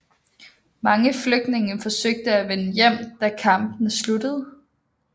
Mange flygtninge forsøgte at vende hjem da kampene sluttede